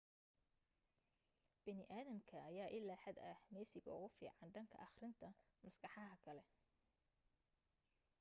bini aadamka ayaa ilaa xad ah meesiga ugu fiican dhanka akhrinta maskaxaha kale